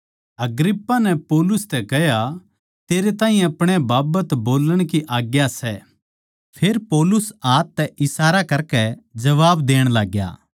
अग्रिप्पा नै पौलुस तै कह्या तेरै ताहीं अपणे बाबत बोल्लण की आज्ञा सै फेर पौलुस हाथ तै इशारा करकै जबाब देण लाग्या